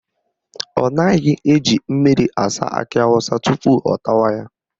Ọ naghị eji mmiri asa akị awụsa asa tupu ọ tawa ya